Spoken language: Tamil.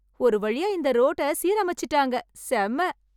ஒரு வழியா இந்த ரோட்டச் சீரமைச்சசுட்டாங்க. செம்ம.